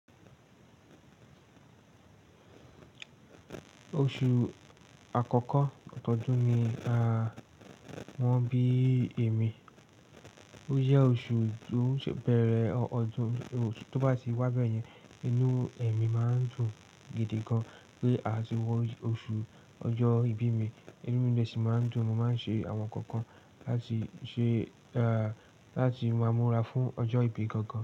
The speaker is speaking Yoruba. Oṣù àkọ́kọ́ ọdún ni a mọ̀ bí èmi, ó jẹ́ oṣù tó ṣe bẹ̀rẹ̀ ọdún. Tóbá ti wá bẹ́ẹ̀ yẹn, inú ẹ̀mí máa ń dùn gidi gan-an pé a ti wọ oṣù ọjọ́ ìbí mi, inú mi de sì máa ń dùn. Mo máa ń ṣe àwọn nǹkan kan láti ṣe, láti máa múra fún ọjọ́ ìbí gangan.